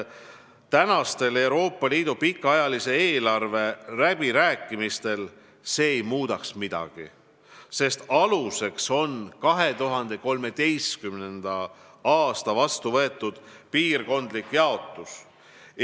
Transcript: Praegustel Euroopa Liidu pikaajalise eelarve läbirääkimistel ei muudaks see midagi, sest aluseks on 2013. aastal vastu võetud piirkondlik jaotus.